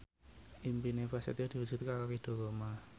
impine Prasetyo diwujudke karo Ridho Roma